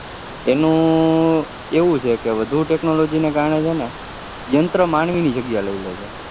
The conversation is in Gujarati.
તેનું એવું છે કેવધુ technology ના કરણે છે કે યંત્ર માનવી ની જગ્યા લઇ લે છે